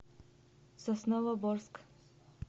сосновоборск